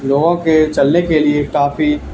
लोगों के चलने के लिए काफी--